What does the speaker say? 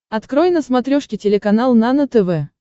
открой на смотрешке телеканал нано тв